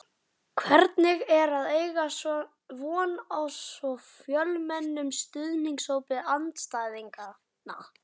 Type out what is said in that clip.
Hvernig er að eiga von á svo fjölmennum stuðningshópi andstæðinganna?